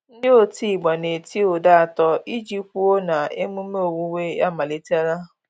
Ndị otigba na-eti ụda atọ iji kwụo na emume owuwe amalitela.